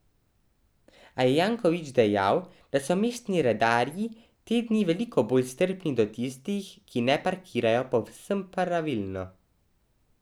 A je Janković dejal, da so mestni redarji te dni veliko bolj strpni do tistih, ki ne parkirajo povsem pravilno.